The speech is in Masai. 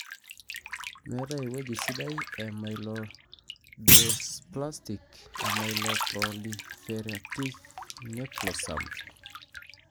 metae eweuji sidai e Myelodysplastic/myeloproliferative neoplasm.